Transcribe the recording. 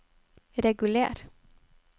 reguler